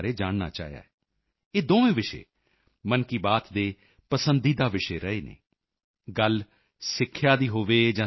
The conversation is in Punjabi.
ਡੀਜੀ ਨੇ ਸਿੱਖਿਆ ਅਤੇ ਸੱਭਿਅਤਾ ਸੰਰਖਣ ਕਲਚਰਲ ਪ੍ਰੀਜ਼ਰਵੇਸ਼ਨ ਯਾਨੀ ਸਿੱਖਿਆ ਅਤੇ ਸੰਸਕ੍ਰਿਤੀ ਸੰਭਾਲ਼ ਨੂੰ ਲੈ ਕੇ ਭਾਰਤ ਦੇ ਯਤਨਾਂ ਬਾਰੇ ਜਾਨਣਾ ਚਾਹਿਆ ਹੈ ਇਹ ਦੋਵੇਂ ਵਿਸ਼ੇ ਮਨ ਕੀ ਬਾਤ ਦੇ ਪਸੰਦੀਦਾ ਵਿਸ਼ੇ ਰਹੇ ਹਨ